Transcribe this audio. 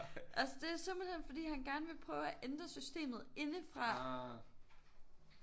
Altså det er simpelthen fordi han gerne vil prøve at ændre systemet indefra